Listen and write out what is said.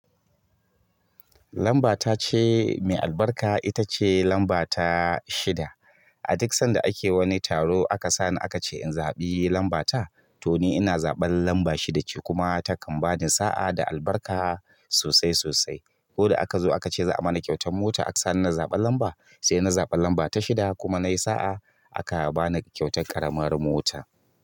Lamba ta ce mai albarka ita ce lamba ta shida. A duk sanda ake wani taro aka sani aka ce in zaɓi lambata to ni ina zaɓan lamba shida ce kuma ta kan bada sa'a da albarka sosai sosai. Ko da aka zo aka ce za a bani kyautan mota aka sani na zaɓan lamba sai na zaɓa lamba ta shida kuma nayi sa'a aka ba ni kyautan ƙaramar mota.